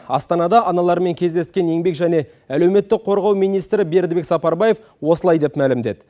астанада аналармен кездескен еңбек және әлеуметтік қорғау министрі бердібек сапарбаев осылай деп мәлімдеді